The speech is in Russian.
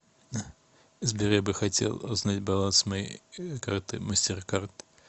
сбер я бы хотел узнать баланс моей карты мастеркард